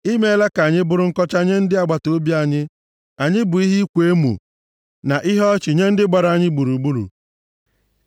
I meela ka anyị bụrụ nkọcha nye ndị agbataobi anyị, anyị bụ ihe ịkwa emo na ihe ọchị nye ndị gbara anyị gburugburu.